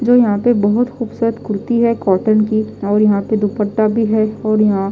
जो यहां पे बहुत खूबसूरत कुर्ती है कॉटन की और यहां पे दुपट्टा भी है और यहां --